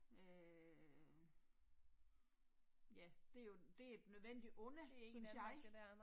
Øh. Ja det er jo, det et nødvendigt onde, synes jeg